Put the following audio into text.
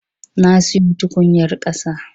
Na siyo tukunyar ƙasa.